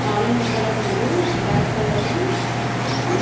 orange colour మరియు black colour లో ఒక--